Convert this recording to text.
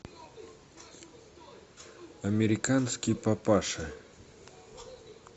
американский папаша